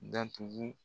Datugu